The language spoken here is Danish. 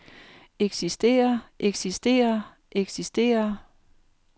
eksisterer eksisterer eksisterer